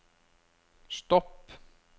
stopp